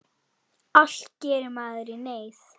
Allt gerir maður í neyð.